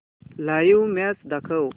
live match दाखव